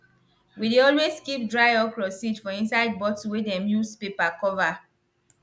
we dey always keep dry okra seed for inside bottle wey dem use paper cover